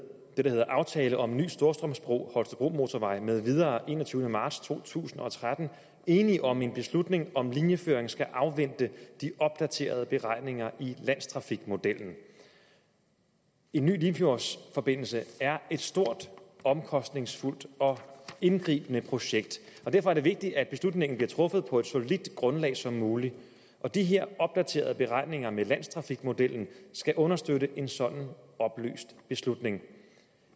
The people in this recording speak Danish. det der hed aftale om en ny storstrømsbro holstebromotorvejen med videre af enogtyvende marts to tusind og tretten enig om en beslutning om at linjeføringen skal afvente de opdaterede beregninger i landstrafikmodellen en ny limfjordsforbindelse er et stort omkostningsfuldt og indgribende projekt derfor er det vigtigt at beslutningen bliver truffet på et så solidt grundlag som muligt og de her opdaterede beregninger i landstrafikmodellen skal understøtte en sådan oplyst beslutning